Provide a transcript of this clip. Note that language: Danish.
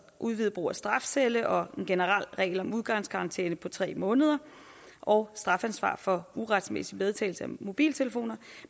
udvidet brug af strafcelle og en generel regel om udgangskarantæne på tre måneder og strafansvar for uretmæssig medtagelse af mobiltelefoner